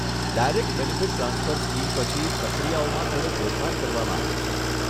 Direct benefit transfer scheme પછી, પ્રક્રિયાઓમાં થોડો ફેરફાર કરવામાં આવ્યો છે.